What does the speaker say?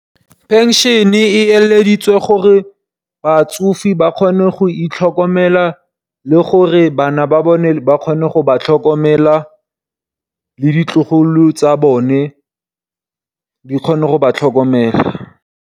Phenšene e eleditswe gore batsofe ba kgone go itlhokomela, le gore bana ba bone ba kgone go ba tlhokomela le ditlogolo tsa bone di kgone go ba tlhokomela.